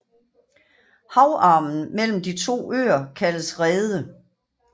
Havarmen mellem de to øer kaldes Reede